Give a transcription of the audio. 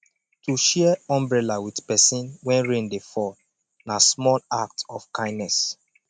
to share umbrella with persin when rain de fall na small act of kindness